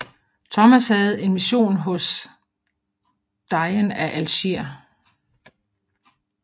Thomas havde en mission hos Dejen af Algier